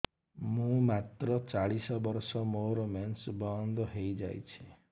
ମୁଁ ମାତ୍ର ଚାଳିଶ ବର୍ଷ ମୋର ମେନ୍ସ ବନ୍ଦ ହେଇଯାଇଛି